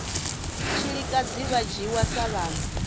tshilikadzi vha dzhiwa sa vhana